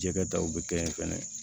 Jɛgɛ daw bi kɛ yen fɛnɛ